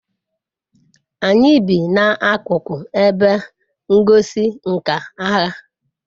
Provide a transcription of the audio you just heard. anyi bi na akuko ebe ngosi nka agha